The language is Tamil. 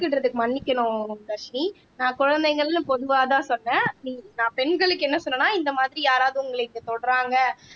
மன்னிக்கணும் தர்ஷினி நான் குழந்தைங்கள்னு பொதுவாதான் சொன்னேன் நான் பெண்களுக்கு என்ன சொன்னன்னா இந்த மாதிரி யாராவது உங்களை தொடுறாங்க